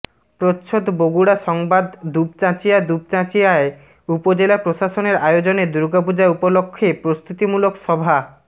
প্রচ্ছদ বগুড়া সংবাদ দুপচাচিঁয়া দুপচাঁচিয়ায় উপজেলা প্রশাসনের আয়োজনে দুর্গাপূজা উপলক্ষে প্রস্তুতিমূলক সভা